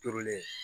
Turulen